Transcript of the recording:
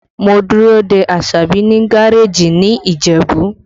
Mo dúró de Asabi ní gareeji ní Ìjẹ̀bú